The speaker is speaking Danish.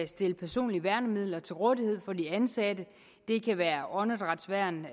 stille personlige værnemidler til rådighed for de ansatte det kan være åndedrætsværn